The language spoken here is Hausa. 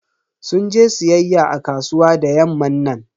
Sun je siyayya a kasuwa da yamman nan.